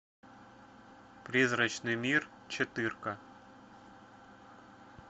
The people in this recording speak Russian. призрачный мир четырка